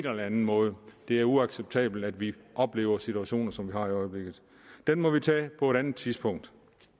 eller anden måde det er uacceptabelt at vi oplever situationer som har i øjeblikket den må vi tage på et andet tidspunkt